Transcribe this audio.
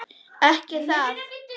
Ekki það.?